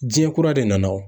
Jiɲɛ kura de nana o!